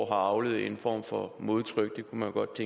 avlet en form for modtryk det kunne man godt